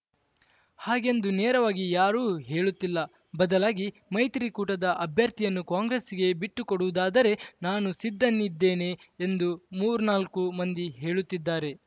ಹಾಗೆಂದು ನೇರವಾಗಿ ಯಾರೂ ಹೇಳುತ್ತಿಲ್ಲ ಬದಲಾಗಿ ಮೈತ್ರಿಕೂಟದ ಅಭ್ಯರ್ಥಿಯನ್ನು ಕಾಂಗ್ರೆಸ್‌ಗೆ ಬಿಟ್ಟುಕೊಡುವುದಾದರೆ ನಾನು ಸಿದ್ಧನಿದ್ದೇನೆ ಎಂದು ಮೂರ್ನಾಲ್ಕು ಮಂದಿ ಹೇಳುತ್ತಿದ್ದಾರೆ